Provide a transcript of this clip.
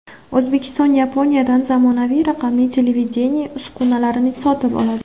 O‘zbekiston Yaponiyadan zamonaviy raqamli televideniye uskunalarini sotib oladi.